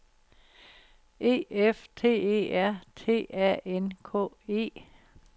E F T E R T A N K E